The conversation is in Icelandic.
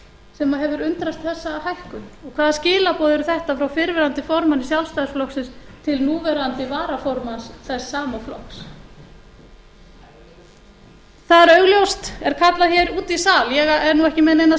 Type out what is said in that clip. sem hefur undrast þessa hækkun og hvaða skilaboð eru þetta frá fyrrverandi formanni sjálfstæðisflokksins til núverandi varaformanns þess sama flokks það er augljóst er kallað hér úti í sal ég er nú ekki með neinar